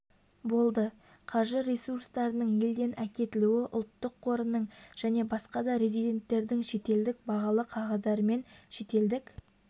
болды қаржы ресурстарының елден әкетілуі ұлттық қорының және басқа да резиденттердің шетелдік бағалы қағаздарымен шетелдік